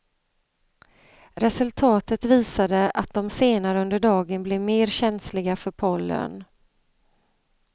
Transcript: Resultatet visade att de senare under dagen blev mer känsliga för pollen.